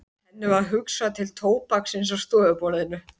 Henni varð hugsað til tóbaksins á stofuborðinu.